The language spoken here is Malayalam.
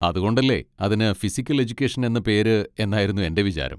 അതുകൊണ്ടല്ലേ അതിന് ഫിസിക്കൽ എജുക്കേഷൻ എന്ന പേര് എന്നായിരുന്നു എൻ്റെ വിചാരം.